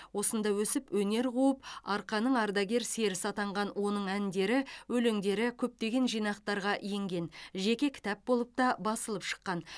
осында өсіп өнер қуып арқаның ардагер серісі атанған оның әндері өлеңдері көптеген жинақтарға енген жеке кітап болып та басылып шыққан